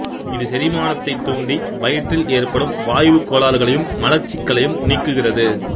இது செரிமானத்தை தூண்டி வயிற்றில் எற்படும் வாயுக் கோளாறுகளையும் மலச்சிக்கலையும் நீக்குகிறது